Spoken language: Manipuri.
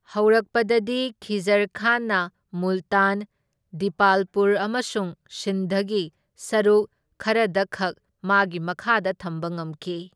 ꯍꯧꯔꯛꯄꯗꯗꯤ, ꯈꯤꯖꯔ ꯈꯥꯟꯅ ꯃꯨꯜꯇꯥꯟ, ꯗꯤꯄꯥꯜꯄꯨꯔ ꯑꯃꯁꯨꯡ ꯁꯤꯟꯙꯒꯤ ꯁꯔꯨꯛ ꯈꯔꯗꯈꯛ ꯃꯥꯒꯤ ꯃꯈꯥꯗ ꯊꯝꯕ ꯉꯝꯈꯤ꯫